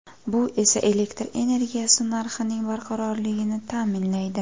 Bu esa elektr energiyasi narxining barqarorligini ta’minlaydi.